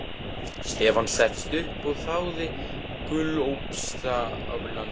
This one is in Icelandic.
Stefán settist upp og þáði gúlsopa af landanum.